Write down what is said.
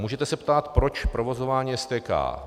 Můžete se ptát, proč provozování STK.